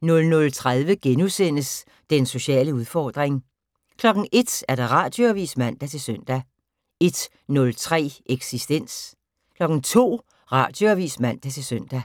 00:30: Den sociale udfordring * 01:00: Radioavis (man-søn) 01:03: Eksistens 02:00: Radioavis (man-søn)